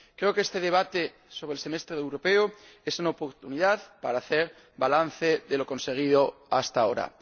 Creo que este debate sobre el Semestre Europeo es una oportunidad para hacer balance de lo conseguido hasta ahora.